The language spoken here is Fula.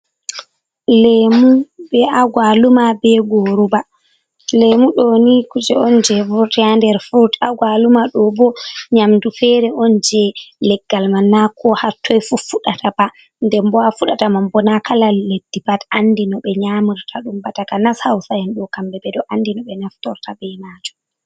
Lemu be agwaluma, be guruba. Lemu ɗo ni kuje on jei vurti ha nder frut. Agwaluma ɗo bo nyamdu fere on jei leggal man na ko ha toi fu fuɗata ba. Nden bo ha fuɗata man bo na kala leddi pat andi no ɓe nyamorta ɗum ba. Takanas Hausa'en ɗo kamɓe ɓe ɗo andi no ɓe naftorta bei majum.